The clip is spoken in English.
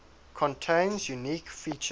contains unique features